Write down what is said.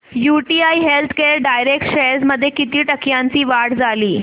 UTI healthcare direct shares मध्ये किती टक्क्यांची वाढ झाली